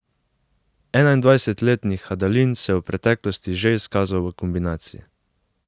Enaindvajsetletni Hadalin se je v preteklosti že izkazal v kombinaciji.